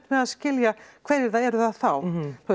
að skilja hverjir það eru þá þú